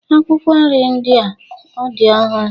Akwụkwọ nri ndị a ọ dị ọhụrụ